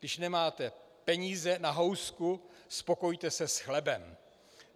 Když nemáte peníze na housku, spokojíte se s chlebem.